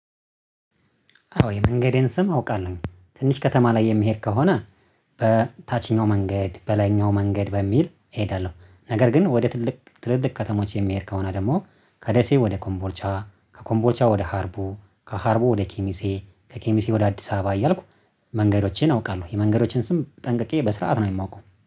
አዎ የመንገዴን ስም አውቃለሁ ትንሽ ከተማ ላይ የሚሄድ ከሆነ በታችኛው መንገድ በላይኛው መንገድ በሚል እሄዳለሁ። ነገር ግን ወደ ትልቅ ትልልቅ ከተሞች የሚሄድ ከሆነ ደግሞ ከደሴ ወደ ኮምቦልቻ ከኮምቦልቻ ወደ ሀርቦ ከሀርቦ ወደ ኬሚሴ ከኬሚሴ ወደ አዲስ አበባ እያልኩ መንገዶቼን አውቃለሁ። የመንገዶቼን ስም ጠንቅቄ በስርዓት ነው የማውቀው